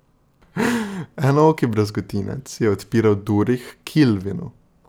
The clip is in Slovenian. Enooki brazgotinec je odpiral duri h Kilvinu.